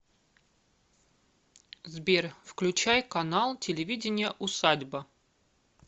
сбер включай канал телевидения усадьба